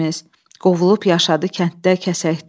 Qovulub yaşadı kənddə, kəsəkdə.